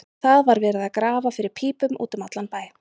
Það var verið að grafa fyrir pípum út um allan bæ.